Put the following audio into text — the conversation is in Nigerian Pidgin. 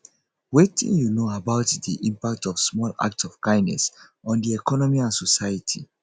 wetin you know about di impact of small acts of kindness on di economy and society